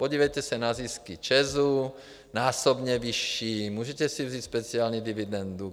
Podívejte se na zisky ČEZu, násobně vyšší, můžete si vzít speciální dividendu.